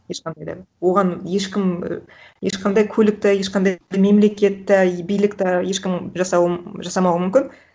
ешқандай да оған ешкім і ешқандай көлік та ешқандай мемлекет та и билік та ешкім жасамауы мүмкін